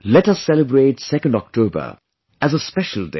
Let us celebrate 2nd October as a special day